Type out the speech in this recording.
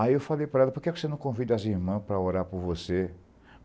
Aí eu falei para ela, por que você não convida as irmãs para orar por você?